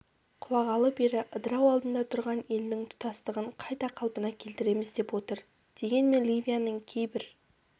құлағалы бері ыдырау алдында тұрған елдің тұтастығын қайта қалпына келтіреміз деп отыр дегенмен ливияның кейбір